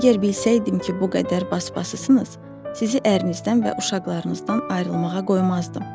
Əgər bilsəydim ki, bu qədər basabasısınız, sizi ərinizdən və uşaqlarınızdan ayrılmağa qoymazdım.